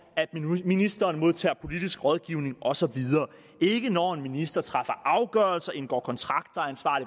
at ministeren modtager politisk rådgivning og så videre ikke når en minister træffer afgørelser indgår kontrakter